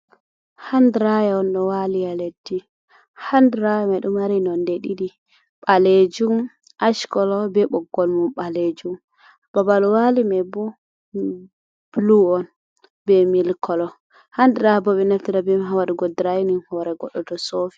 Hand draya on ɗo wali ha leddi, hand draya mai ɗo mari non de didi balejum ashkolo be boggol mum balejum, Babal wali mai bo blue on be milk kolo handraya bo ɓe naftira beman ha waɗugo draining hore goɗɗo tow sofi.